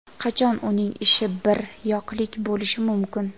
Qachon uning ishi bir yoqlik bo‘lishi mumkin?